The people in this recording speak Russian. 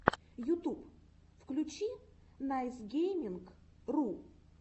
ютуб включи найсгейминг ру